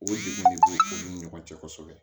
O si de bɛ u ni ɲɔgɔn cɛ kosɛbɛ